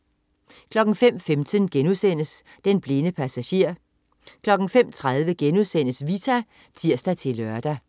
05.15 Den blinde passager* 05.30 Vita* (tirs-lør)